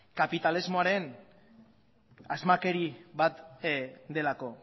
kapitalismoaren asmakeri bat delako